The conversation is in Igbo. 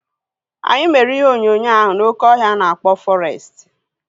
Anyị mere ihe onyonyo ahu n'oké ọhịa ana akpọ fọrestị